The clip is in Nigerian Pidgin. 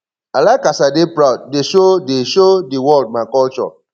i like as i dey proud dey show dey show di world my culture